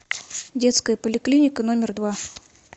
детская поликлиника номер два